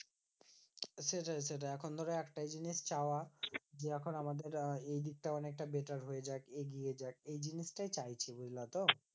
সেটাই সেটাই এখন ধরো একটাই জিনিস চাওয়া যে, এখন আমাদের আহ এই দিকটা অনেকটা better হয়ে যাক এগিয়ে যাক। এই জিনিসটাই চাইছিলে তো?